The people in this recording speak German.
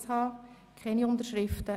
Es gibt keine Unterschriften;